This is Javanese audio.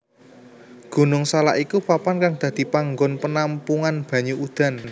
Gunung Salak iku papan kang dadi panggon penampungan banyu udan